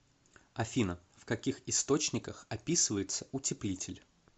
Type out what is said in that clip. афина в каких источниках описывается утеплитель